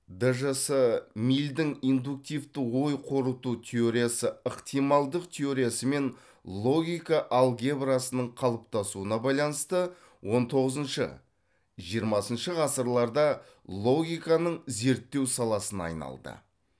дж с милльдің индуктивті ой қорыту теориясы ықтималдық теориясы мен логика алгебрасының қалыптасуына байланысты он тоғызыншы жиырмасыншы ғасырларда логиканың зерттеу саласына айналды